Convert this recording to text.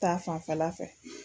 Ta fanfɛla fɛ.